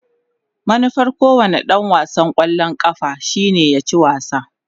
Manufar kowane dan wasan kwallon kafa shine ya ci wasa.